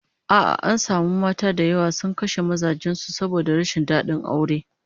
A'a, an samu mata da yawa sun kashe mazan su saboda rashin dadin aure